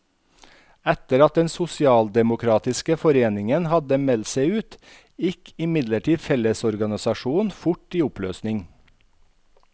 Etter at den sosialdemokratiske foreningen hadde meldt seg ut, gikk imidlertid fellesorganisasjonen fort i oppløsning.